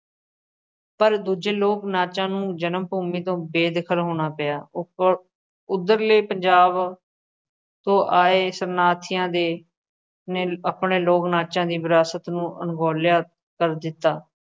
ਪਰ ਦੂਜੇ ਲੋਕ ਨਾਚਾਂ ਨੂੰ ਜਨਮ ਭੂਮੀ ਤੋਂ ਬੇਦਖਲ ਹੋਣਾ ਪਿਆ ਉੱਧਰਲੇ ਪੰਜਾਬ ਤੋਂ ਆਏ ਸੰਨਿਆਸੀਆਂ ਦੇ ਨੇ ਆਪਣੇ ਲੋਕ ਨਾਚਾਂ ਦੀ ਵਿਰਾਸਤ ਨੂੰ ਅਣਗੌਲਿਆ ਕਰ ਦਿੱਤਾ,